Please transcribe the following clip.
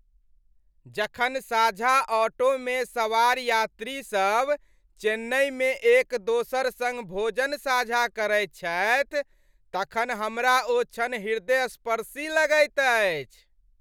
जखन साझा ऑटोमे सवार यात्रीसभ चेन्नईमे एक दोसर सङ्ग भोजन साझा करैत छथि तखन हमरा ओ क्षण हृदयस्पर्शी लगैत अछि।